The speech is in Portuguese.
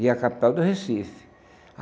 e a capital do Recife.